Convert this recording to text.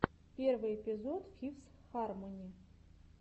первый эпизод фифс хармони